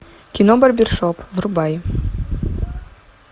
кино барбершоп врубай